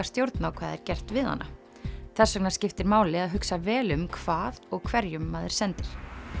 stjórn á hvað er gert við hana þess vegna skiptir máli að hugsa vel um hvað og hverjum maður sendir